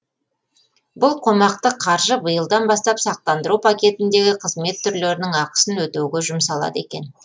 бұл қомақты қаржы биылдан бастап сақтандыру пакетіндегі қызмет түрлерінің ақысын өтеуге жұмсалады екен